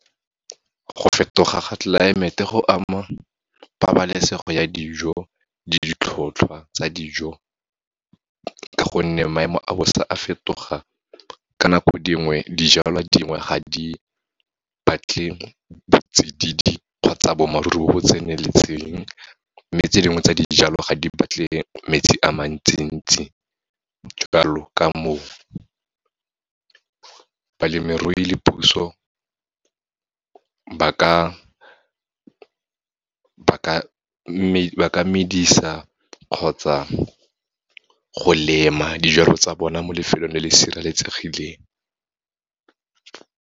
Go fetoga ga tlelaemete, go ama pabalesego ya dijo, ditlhotlhwa tsa dijo, ka gonne maemo a bosa a fetoga, ka nako dingwe dijalwa dingwe ga di batle botsididi, kgotsa bo maruru bo bo tseneletseng. Mme tse dingwe tsa dijalo, ga di batle metsi a mantsi ntsi, jalo ka moo, balemirui le puso ba ka medisa kgotsa go lema, dijalo tsa bona mo lefelong le le sireletsegileng.